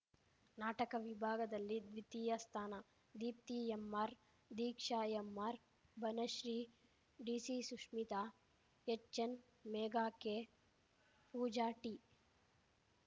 ನಾಟಕ ವಿಭಾಗದಲ್ಲಿ ದ್ವಿತೀಯ ಸ್ಥಾನ ದೀಪ್ತಿ ಎಂಆರ್‌ ದೀಕ್ಷಾ ಎಂಆರ್‌ ಬನಶ್ರೀಡಿಸಿ Sushmita H N Megha K Pooja T